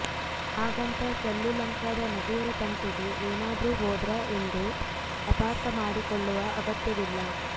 ಹಾಗಂತ ಸಲ್ಲು ಲಂಕಾದ ನಟಿಯರ ತಂಟೆಗೆ ಏನಾದ್ರೂ ಹೋದ್ರಾ ಎಂದು ಅಪಾರ್ಥ ಮಾಡಿಕೊಳ್ಳುವ ಅಗತ್ಯವಿಲ್ಲ